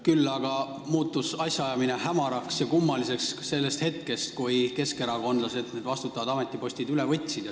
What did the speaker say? Küll aga muutus asjaajamine hämaraks ja kummaliseks sellest hetkest, kui keskerakondlased vastutavad ametipostid üle võtsid.